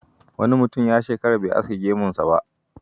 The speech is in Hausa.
Wani mutum ya shekara bai aske gemunsa ba.